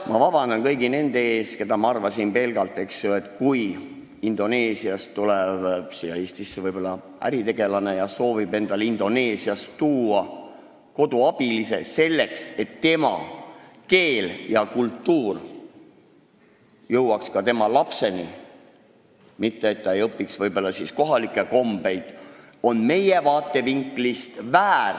Ma palun vabandust kõigilt neilt, kellest ma nii arvan, aga see, kui Indoneesiast tuleb Eestisse äritegelane, kes soovib kaasa võtta koduabilise, selleks et indoneesia keel ja kultuur jõuaks tema lapseni, kes ei õpiks siis nii väga kohalikke kombeid, on ju meie vaatevinklist väär.